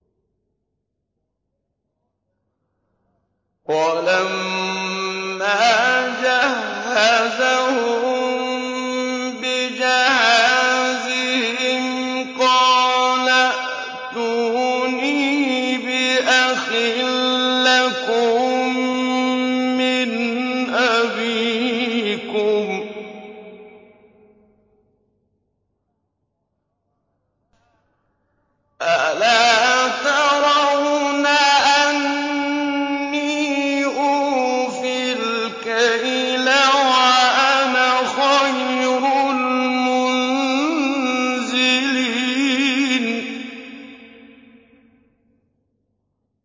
وَلَمَّا جَهَّزَهُم بِجَهَازِهِمْ قَالَ ائْتُونِي بِأَخٍ لَّكُم مِّنْ أَبِيكُمْ ۚ أَلَا تَرَوْنَ أَنِّي أُوفِي الْكَيْلَ وَأَنَا خَيْرُ الْمُنزِلِينَ